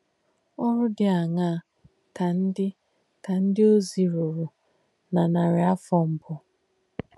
Òrū dí àṅaa kà ndí kà ndí ozì rùrù nà nàrí àfọ̀ mbù?